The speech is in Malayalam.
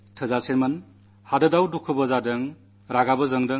രാജ്യമെങ്ങും ദുഃഖവുമുണ്ട് രോഷവുമുണ്ട്